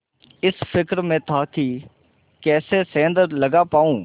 इस फिक्र में था कि कैसे सेंध लगा पाऊँ